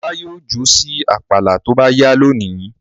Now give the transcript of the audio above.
Ọlá yóò jó sí àpàlà tó bá yá lónìí.